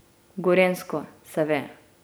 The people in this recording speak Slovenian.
Gorenjsko, seve.